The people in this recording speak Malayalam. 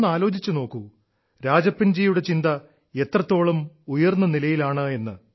ഒന്ന് ആലോചിച്ചു നോക്കൂ രാജപ്പൻജിയുടെ ചിന്ത എത്രത്തോളം ഉയർന്ന നിലയിലാണെന്ന്